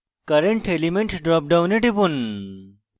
current element drop ডাউনে টিপুন